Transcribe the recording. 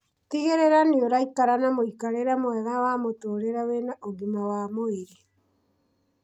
Tigĩrĩra nĩũraikara na mũikarĩre mwega wa mũtũrire wĩna ũgima wa mwĩrĩ